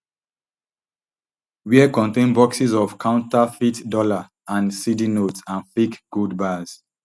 wia contain boxes of counterfeit dollar and cedi notes and fake gold bars